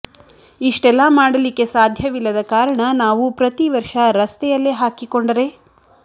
ಇಷ್ಟೆಲ್ಲ ಮಾಡಲಿಕ್ಕೆ ಸಾಧ್ಯವಿಲ್ಲದ ಕಾರಣ ನಾವು ಪ್ರತಿ ವರ್ಷ ರಸ್ತೆಯಲ್ಲೆ ಹಾಕಿಕೊಂಡರೆ